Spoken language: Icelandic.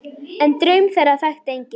En draum þeirra þekkti enginn.